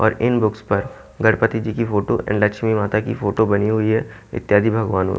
और इन बुक्स पर गणपति जी की फोटो एंड लक्ष्मी माता की फोटो बनी हुई है इत्यादि भगवान--